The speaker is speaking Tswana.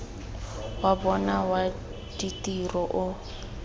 wa bona wa ditiro o